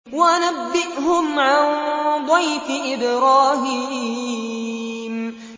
وَنَبِّئْهُمْ عَن ضَيْفِ إِبْرَاهِيمَ